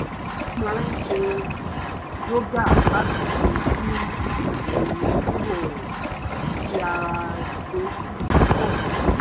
ó máa ń ṣe yoga láti fi dín ẹ̀yìn ríro ẹ kù kí ara rẹ̀ dẹ̀ si túbọ̀ rọ̀